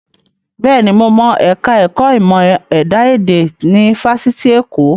Bẹ́ẹ̀ni, mo mọ ẹ̀ka ẹ̀kọ́ ìmọ̀ ẹ̀dá èdè ní Fáṣitì Èkó